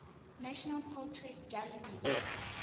national portrait gallery